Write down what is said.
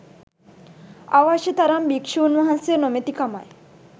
අවශ්‍ය තරම් භික්‍ෂූන් වහන්සේ නොමැතිකමයි.